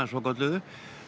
svokölluðu